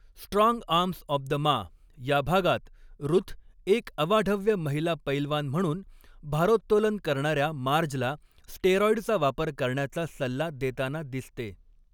Strong arms of the ma' या भागात Ruth एक अवाढव्य महिला पैलवान म्हणून, भारोत्तोलन करणाऱ्या मार्जला स्टेरॉईडचा वापर करण्याचा सल्ला देताना दिसते.